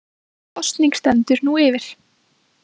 Kosning stendur nú yfir